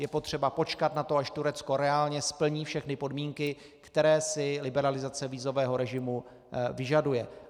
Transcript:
Je potřeba počkat na to, až Turecko reálně splní všechny podmínky, které si liberalizace vízového režimu vyžaduje.